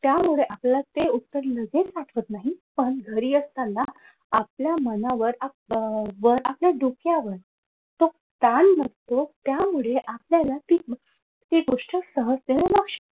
त्यामध्ये ते आपल्याला ते उत्तर लगेच आठवत नाही पण घरी असताना आपल्या मनावर आपल्या डोक्यावर तो ताण नसतो त्याच्यामुळे आपल्याला ती ती गोष्ट सहजतेनं लक्षात